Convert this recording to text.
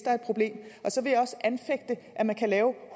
er et problem så vil jeg også anfægte at man kan lave